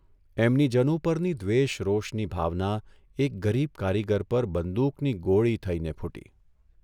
એમની જનુ પરની દ્વેષ રોષની ભાવના એક ગરીબ કારીગર પર બંદૂકની ગોળી થઇને ફૂટી.